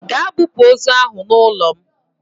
Gaa bupu ozu ahụ n'ụlọ m!